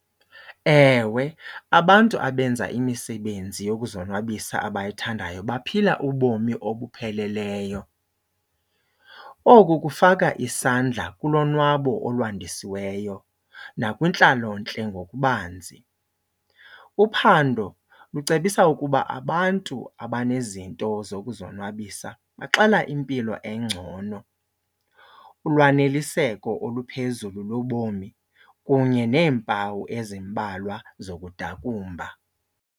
Ewe, abantu abenza imisebenzi yokuzonwabisa abayithandayo baphila ubomi obupheleleyo. Oku kufaka isandla kulonwabo olwandisiweyo nakwintlalontle ngokubanzi. Uphando lucebisa ukuba abantu abanezinto zokuzonwabisa baxela impilo engcono, ulwaneliseko oluphezulu lobomi kunye neempawu ezimbalwa zokudakumba.